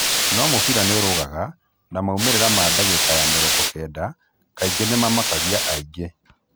No mũbira nĩũrũgaga, na maumĩrĩra ma dagĩka ya mĩrongo kenda kaingĩ nĩmamakagia aingĩ.